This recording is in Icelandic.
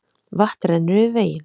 Vatn rennur yfir veginn